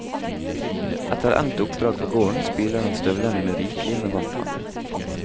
Etter endt oppdrag på gården, spyler han støvlene med rikelig med varmt vann.